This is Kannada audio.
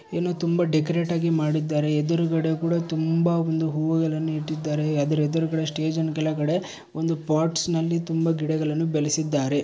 ಏನೊ ತುಂಬಾ ಡೆಕೊರೇಟ್ ಆಗಿ ಮಾಡಿದ್ದಾರೆ ಎದ್ರುಗಡೆ ಕೂಡ ತುಂಬಾ ಒಂದು ಹೂವ್ವುಗಳನ್ನು ಇಟ್ಟಿದ್ದಾರೆ ಅದ್ರ್ ಎದ್ರುಗಡೆ ಸ್ಟೇಜಿನ ಕೆಳಗಡೆ ಒಂದು ಪಾಟ್ಸ್ನಲ್ಲಿ ತುಂಬಾ ಗಿಡಗಳನ್ನು ಬೆಳೆಸಿದ್ದಾರೆ.